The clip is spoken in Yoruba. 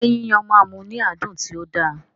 Ṣé Yíyan máa mú ní àádùn tí ó da?